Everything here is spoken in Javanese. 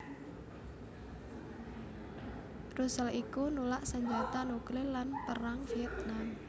Russell iku nulak sanjata nuklir lan Perang Vietnam